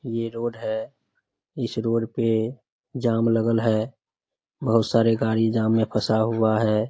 ये रोड है। इस रोड पे जाम लागल है। बोहोत सारे गाड़ी जाम में फंसा हुआ है ।